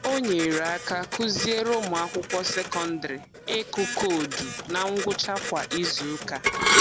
O nyere aka kụziere ụmụakwụkwọ sekondịrị ịkụ koodu na ngwụcha kwa izuụka